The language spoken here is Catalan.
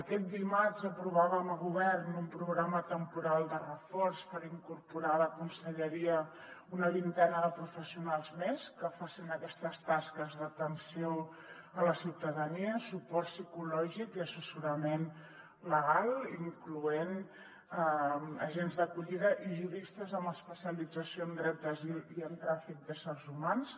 aquest dimarts aprovàvem a govern un programa temporal de reforç per incorporar a la conselleria una vintena de professionals més que facin aquestes tasques d’atenció a la ciutadania suport psicològic i assessorament legal incloent hi agents d’acollida i juristes amb especialització en dret d’asil i en tràfic d’éssers humans